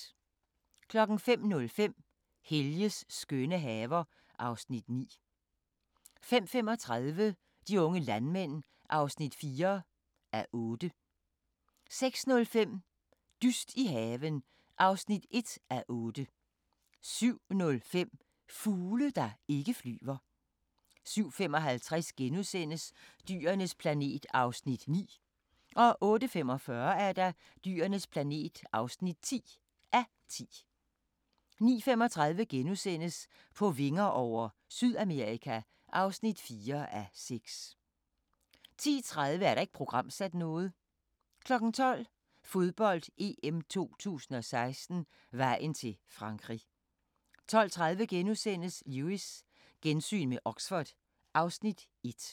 05:05: Helges skønne haver (Afs. 9) 05:35: De unge landmænd (4:8) 06:05: Dyst i haven (1:8) 07:05: Fugle, der ikke flyver 07:55: Dyrenes planet (9:10)* 08:45: Dyrenes planet (10:10) 09:35: På vinger over - Sydamerika (4:6)* 10:30: Ikke programsat 12:00: Fodbold: EM 2016 - vejen til Frankrig 12:30: Lewis: Gensyn med Oxford (Afs. 1)*